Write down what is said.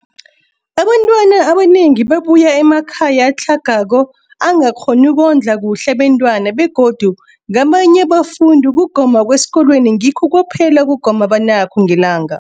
Abantwana abanengi babuya emakhaya atlhagako angakghoni ukondla kuhle abentwana, begodu kabanye abafundi, ukugoma kwesikolweni ngikho kwaphela ukugoma abanakho ngelanga.